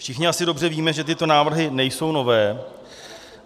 Všichni asi dobře víme, že tyto návrhy nejsou nové.